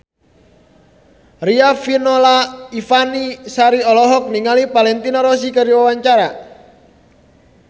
Riafinola Ifani Sari olohok ningali Valentino Rossi keur diwawancara